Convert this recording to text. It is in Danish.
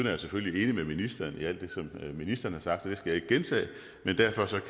jeg selvfølgelig enig med ministeren i alt det som ministeren har sagt så det skal jeg ikke gentage men derfor